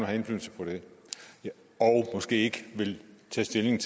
have indflydelse på det og måske ikke vil stemme